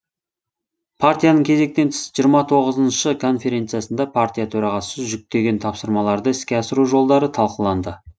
партияның кезектен тыс жиырма тоғызыншы конференциясында партия төрағасы жүктеген тапсырмаларды іске асыру жолдары талқыланды